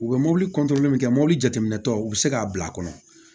U bɛ mobili min kɛ mobili jateminɛ tɔ u bɛ se k'a bila a kɔnɔ